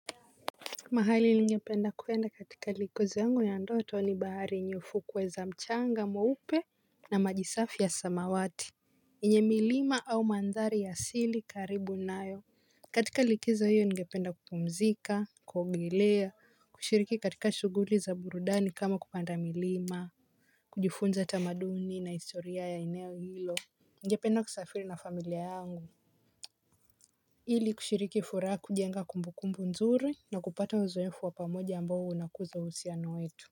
Mahali ningependa kuenda katika likizo yangu ya ndoto ni bahari nyufu kweza mchanga mweupe na maji safi ya samawati yenye milima au mandhari ya siri karibu nayo. Katika likizo hiyo ningependa kupumzika kuogelea kushiriki katika shuguli za burudani kama kupanda milima. Kujifunza tamaduni na historia ya ineo hilo. Ningependa kusafiri na familia yangu ili kushiriki furaha kujenga kumbukumbu nzuri na kupata uzoefu wa pamoja ambao unakuza uhusiano wetu.